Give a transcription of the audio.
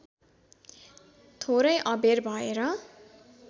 थोरै अबेर भएर